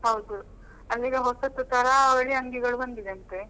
ಹೌದು ಅಂದ್ರೆ ಈಗ ಹೊಸತ್ತು ತರಾವಳಿ ಅಂಗಿಗಳು ಬಂದಿದೆ ಅಂತೆ.